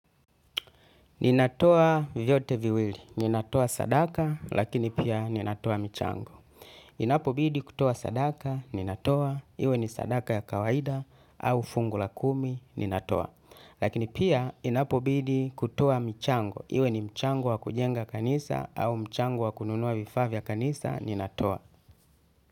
Ninatoa vyote viwili. Ninatoa sadaka lakini pia ninatoa michango. Inapobidi kutoa sadaka, ninatoa. Iwe ni sadaka ya kawaida au fungu la kumi ninatoa. Lakini pia inapobidi kutoa michango. Iwe ni mchango wa kujenga kanisa au mchango wa kununua vifaavya kanisa, ninatoa.